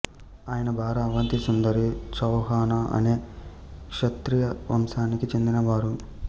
ఆయన భార్య అవంతిసుందరి చౌహాన అనే క్షత్రియ వంశానికి చెందినవారు